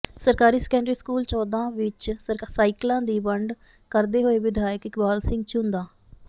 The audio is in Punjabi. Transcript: ਸਰਕਾਰੀ ਸੈਕੰਡਰੀ ਸਕੂਲ ਚੌਂਦਾ ਵਿੱਚ ਸਾਈਕਲਾਂ ਦੀ ਵੰਡ ਕਰਦੇ ਹੋਏ ਵਿਧਾਇਕ ਇਕਬਾਲ ਸਿੰਘ ਝੂੰਦਾਂ